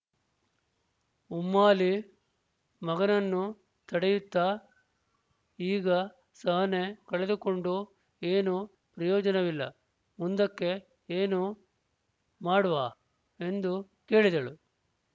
ಉಮ್ಮಾಲಿ ಮಗನನ್ನು ತಡೆಯುತ್ತಾ ಈಗ ಸಹನೆ ಕಳೆದುಕೊಂಡು ಏನೂ ಪ್ರಯೋಜನವಿಲ್ಲ ಮುಂದಕ್ಕೆ ಏನು ಮಾಡುವಾ ಎಂದು ಕೇಳಿದಳು